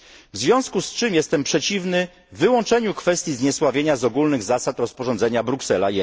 W związku z tym jestem przeciwny wyłączeniu kwestii zniesławienia z ogólnych zasad rozporządzenia Bruksela